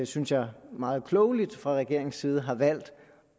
synes jeg meget klogeligt fra regeringens side har valgt